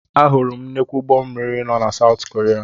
Ahụrụ m nnukwu ụgbọ mmiri na South Korea.